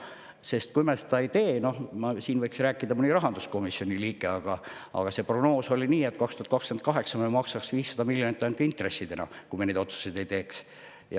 Sest kui me seda ei tee – noh, siin võiks rääkida mõni rahanduskomisjoni liige, aga prognoos oli selline, et 2028. aastal me maksaks 500 miljonit ainult intressidena, kui me neid otsuseid ei teeks.